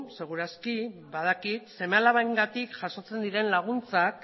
seguru aski badakit seme alabengatik jasotzen diren laguntzak